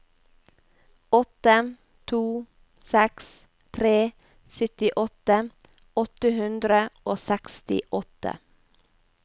åtte to seks tre syttiåtte åtte hundre og sekstiåtte